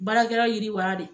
Baarakɛlaw yiriwala de.